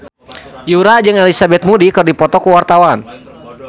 Yura jeung Elizabeth Moody keur dipoto ku wartawan